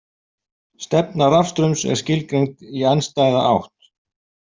Stefna rafstraums er skilgreind í andstæða átt.